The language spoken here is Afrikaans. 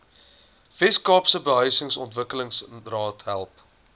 weskaapse behuisingsontwikkelingsraad help